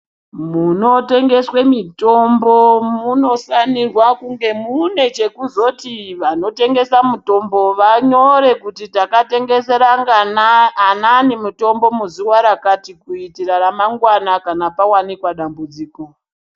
Munotengeswe mutombo munofanirwa kunge mune chekuzoti vanotengesa mutombo vanyore kuti takatengesera ngana anaane mutombo muzuva rakati. Kuitera ramangwana kana pavanikwa dambudziko.